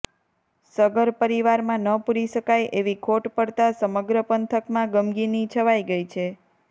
સગર પરિવારમાં ન પૂરી સકાય એવી ખોટ પડતા સમગ્ર પંથકમાં ગમગીની છવાઈ ગઈ છે